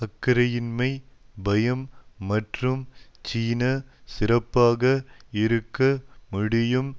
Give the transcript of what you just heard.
அக்கறையின்மை பயம் மற்றும் சீனா சிறப்பாக இருக்க முடியும்